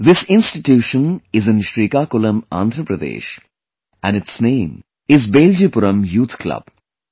This institution is in Srikakulam, Andhra Pradesh and its name is 'Beljipuram Youth Club'